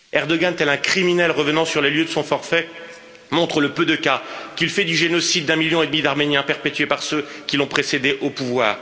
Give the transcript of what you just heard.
Erdoğan, tel un criminel revenant sur les lieux de son forfait, montre le peu de cas qu'il fait du génocide des 1,5 million d'Arméniens perpétré par ceux qui l'ont précédé au pouvoir.